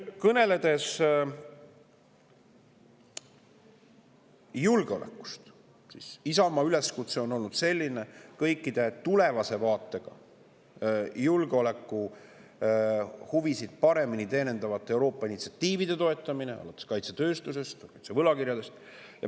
Kõneledes julgeolekust, Isamaa üleskutse on olnud selline: toetame tuleva vaates kõiki julgeolekuhuvisid paremini teenivaid Euroopa initsiatiive, alates kaitsetööstusest ja kaitsevõlakirjadest.